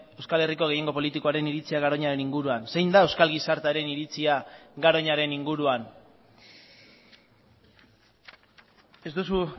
euskal herriko gehiengo politikoaren iritzia garoñaren inguruan zein da euskal gizartearen iritzia garoñaren inguruan ez duzu